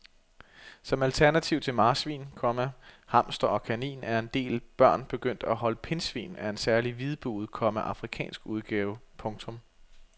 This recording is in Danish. Som alternativ til marsvin, komma hamster og kanin er en del børn begyndt at holde pindsvin af en særlig hvidbuget, komma afrikansk udgave. punktum